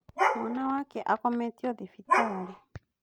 Mwana wake akometio thibitarĩ